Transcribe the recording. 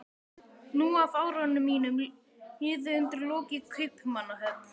Níu af árunum mínum liðu undir lok í Kaupmannahöfn.